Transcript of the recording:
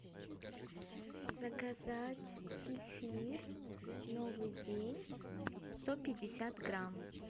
заказать кефир новый день сто пятьдесят грамм